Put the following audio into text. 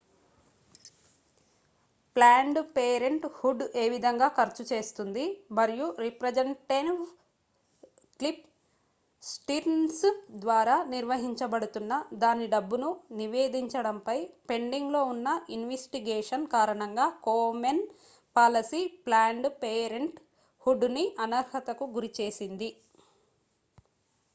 planned parenthood ఏవిధంగా ఖర్చు చేస్తుంది మరియు రిప్రజెంటివ్ క్లిఫ్ స్టిర్న్స్ ద్వారా నిర్వహించబడుతున్న దాని డబ్బును నివేదించడం పై పెండింగ్ లో ఉన్న ఇన్వెస్టిగేషన్ కారణంగా Komen policy planned parenthood ని అనర్హత కు గురిచేసింది